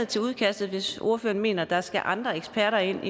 til udkastet hvis ordføreren mener at der skal andre eksperter ind